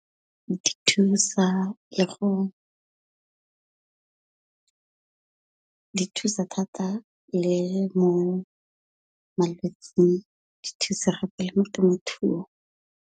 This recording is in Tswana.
Di thusa le go di thusa thata le mo malwetsing, di thusa gape le mo temothuong.